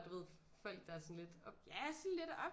Du ved folk der er sådan lidt